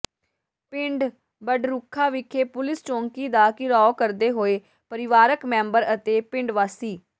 ਪਿੰਡ ਬਡਰੁੱਖਾਂ ਵਿਖੇ ਪੁਲੀਸ ਚੌਕੀ ਦਾ ਘਿਰਾਓ ਕਰਦੇ ਹੋਏ ਪਰਿਵਾਰਕ ਮੈਂਬਰ ਅਤੇ ਪਿੰਡ ਵਾਸੀ